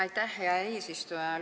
Aitäh, hea eesistuja!